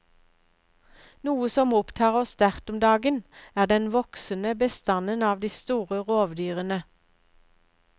Noe som opptar oss sterkt om dagen, er den voksende bestanden av de store rovdyrene.